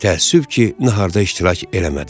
Təəssüf ki, naharda iştirak eləmədiniz.